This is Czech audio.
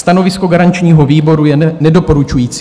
Stanovisko garančního výboru je nedoporučující.